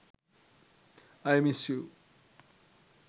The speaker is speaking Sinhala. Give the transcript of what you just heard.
i miss you